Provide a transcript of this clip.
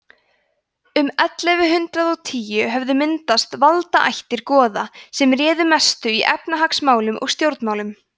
um ellefu hundrað og tíu höfðu myndast valdaættir goða sem réðu mestu í efnahagsmálum og stjórnmálum